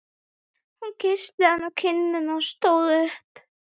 Hún kyssti hann á kinnina og stóð upp.